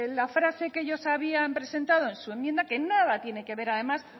la frase que ellos habían presentado en su enmienda que nada tiene que ver además